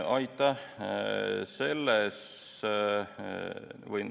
Aitäh!